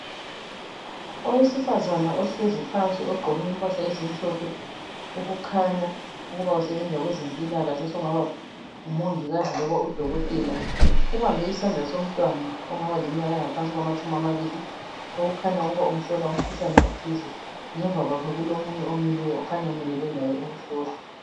Owesifazana ohlezi phansi ogqoke impahla ezimhlophe okukhanya ukuthi usebenza kwempilakahle ubambe umntwana ongaba ngamatshumi amabili okukhanya ukuthi umhlola umkhuhlane othize ngemuva kwakhe kulomunye omileyo ukhanya emelele laye ukuhlolwa